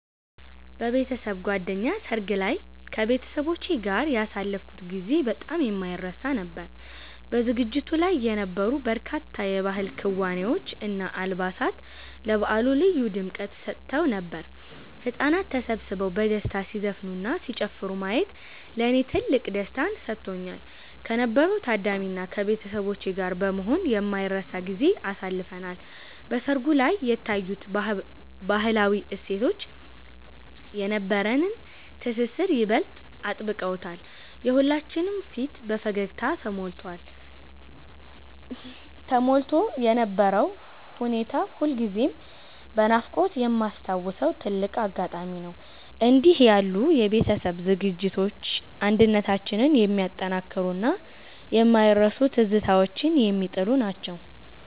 በቤተሰብ ጓደኛ ሰርግ ላይ ከቤተሰቦቼ ጋር ያሳለፍኩት ጊዜ በጣም የማይረሳ ነበር። በዝግጅቱ ላይ የነበሩት በርካታ የባህል ክዋኔዎች እና አልባሳት ለበዓሉ ልዩ ድምቀት ሰጥተውት ነበር። ህጻናት ተሰብስበው በደስታ ሲዘፍኑና ሲጨፍሩ ማየት ለኔ ትልቅ ደስታን ሰጥቶኛል። ከነበረው ታዳሚ እና ከቤተሰቦቼ ጋር በመሆን የማይረሳ ጊዜን አሳልፈናል። በሰርጉ ላይ የታዩት ባህላዊ እሴቶች የነበረንን ትስስር ይበልጥ አጥብቀውታል። የሁላችንም ፊት በፈገግታ ተሞልቶ የነበረው ሁኔታ ሁልጊዜም በናፍቆት የማስታውሰው ትልቅ አጋጣሚ ነው። እንዲህ ያሉ የቤተሰብ ዝግጅቶች አንድነታችንን የሚያጠናክሩና የማይረሱ ትዝታዎችን የሚጥሉ ናቸው።